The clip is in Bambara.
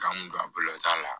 K'an don a bolo t'a la